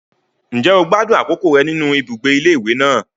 Ǹjẹ́ o gbádùn àkókò rẹ nínú ibùgbé ilé ìwé náà?